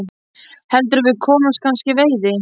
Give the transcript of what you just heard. Heldurðu að við komumst kannski í veiði?